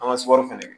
An ka sɔrɔri fɛnɛ